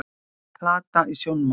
Plata í sjónmáli